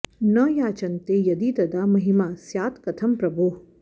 न याचन्ते यदि तदा महिमा स्यात् कथं प्रभोः